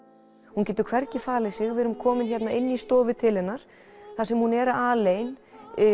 hún getur hvergi falið sig við erum komin hérna inn í stofu til hennar þar sem hún er alein